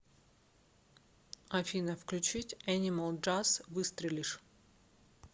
афина включить энимал джаз выстрелишь